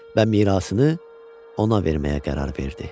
Və mirasını ona verməyə qərar verdi.